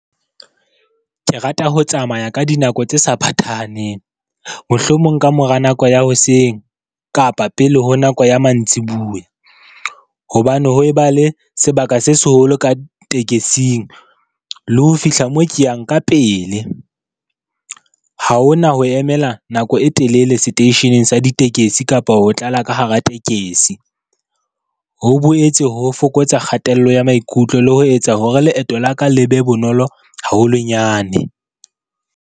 Ke rata ho tsamaya ka dinako tse sa phathahaneng, mohlomong ka mora nako ya hoseng kapa pele ho nako ya mantsibuya, hobane ho eba le sebaka se seholo ka tekesing le ho fihla mo ke yang ka pele. Ha ho na ho emela nako e telele seteisheneng sa ditekesi kapa ho tlala ka hara tekesi. Ho boetse ho fokotsa kgatello ya maikutlo le ho etsa hore leeto la ka le be bonolo haholonyane.